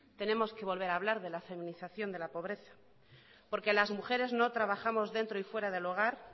tenemos que volver a hablar de la feminización de la pobreza porque las mujeres no trabajamos dentro y fuera del hogar